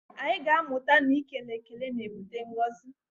Anyị ga-amụta na ike ekele na-ebute ngọzi